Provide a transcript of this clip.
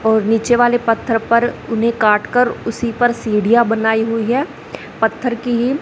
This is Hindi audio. और नीचे वाले पत्थर पर उन्हें काटकर उसी पर सीढ़ियां बनाई हुई है पत्थर की ही--